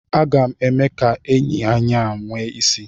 Aga m eme ka enyi anyị a nwee isi.